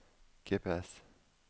GPS